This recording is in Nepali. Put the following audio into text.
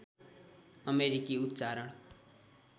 अमेरिकी उच्चारण